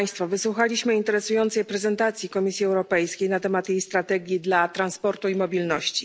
Wysłuchaliśmy interesującej prezentacji Komisji Europejskiej na temat jej strategii dla transportu i mobilności.